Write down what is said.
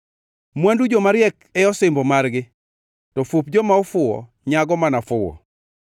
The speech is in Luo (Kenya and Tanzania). Mwandu jomariek e osimbo margi, to fup joma ofuwo nyago mana fuwo.